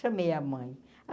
Chamei a mãe.